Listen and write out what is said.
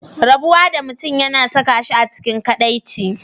Rabuwa da mutum yana saka shi a cikin kadaici.